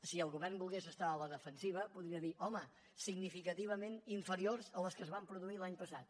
si el govern volgués estar a la defensiva podria dir home significament inferiors a les que es van produir l’any passat